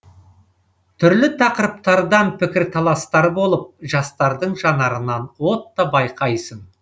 түрлі тақырыптардан пікірталастар болып жастардың жанарынан от та байқайсың